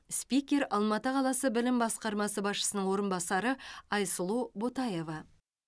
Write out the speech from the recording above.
спикер алматы қаласы білім басқармасы басшысының орынбасары айсұлу ботаева